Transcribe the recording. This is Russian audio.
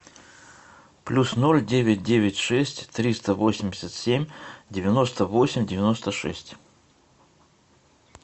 плюс ноль девять девять шесть триста восемьдесят семь девяносто восемь девяносто шесть